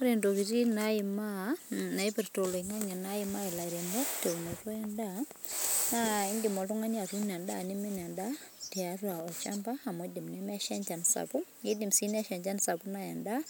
Ore intokitin naipirta olingange naimaa ilairemok teunoto endaa, naa indim oltungani atuuno endaa neimin endaa tiatua olchamba amu eidim nemesha enchan sapuk, eidim sii nesha enchan sapuk neya endaa.